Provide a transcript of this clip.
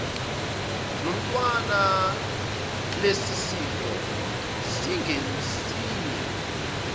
nomntwana lesisifo singesinye